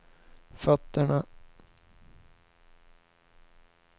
fötterna